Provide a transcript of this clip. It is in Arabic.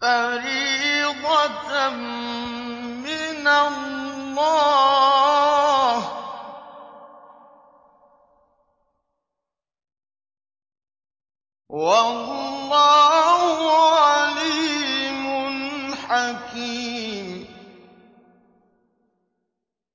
فَرِيضَةً مِّنَ اللَّهِ ۗ وَاللَّهُ عَلِيمٌ حَكِيمٌ